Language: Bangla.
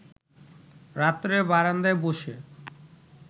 রাত্রে বারান্দায় ব’সে